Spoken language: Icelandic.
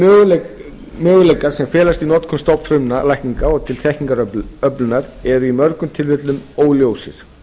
þeir möguleikar sem felast í notkun stofnfrumulækninga og til þekkingaröflunar eru í mörgum tilvikum óljósir